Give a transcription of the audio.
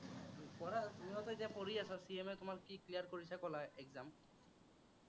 পঢ়া আৰু, তুমিও যে কৰি আছা CMA তোমাৰ কি clear কৰিছা কলা exam ।